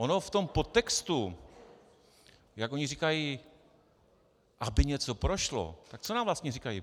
Ono v tom podtextu, jak oni říkají, aby něco prošlo, tak co nám vlastně říkají?